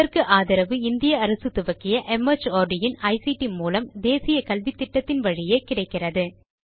இதற்கு ஆதரவு இந்திய அரசு துவக்கிய மார்ட் இன் ஐசிடி மூலம் தேசிய கல்வித்திட்டத்தின் வழியே கிடைக்கிறது